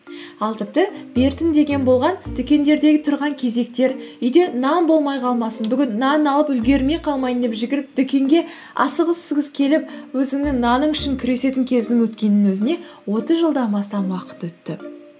ал тіпті деген болған дүкендердегі тұрған кезектер үйде нан болмай қалмасын бүгін нан алып үлгермей қалмайын деп жүгіріп дүкенге асығыс үсігіс келіп өзіңнің наның үшін күресетін кездің өткенінің өзіне отыз жылдам астам уақыт өтті